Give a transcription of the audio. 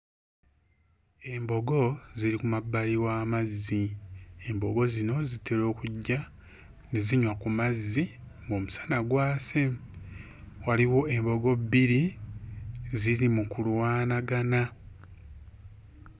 Embogo ziri ku mabbali w'amazzi. Embogo zino zitera okujja ne zinywa ku mazzi ng'omusana gwase. Waliwo embogo bbiri ziri mu kulwanagana.